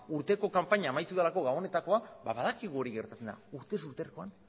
urteko kanpaina amaitu delako gabonetakoa badakigu hori gertatzen dela urtez urtekoan